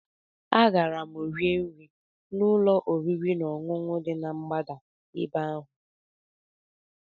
Agara m rie nri n'ụlọ oriri na ọṅụṅụ dị na mgbada ebe ahụ